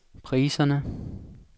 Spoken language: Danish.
priserne